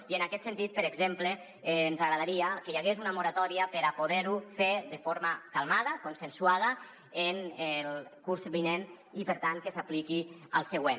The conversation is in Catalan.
i en aquest sentit per exemple ens agradaria que hi hagués una moratòria per a poder·ho fer de forma calmada consensuada en el curs vinent i per tant que s’apliqui al següent